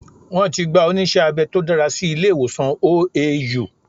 Wọ́n ti gba onísé abẹ tó dára sí ilé ìwòsàn OAU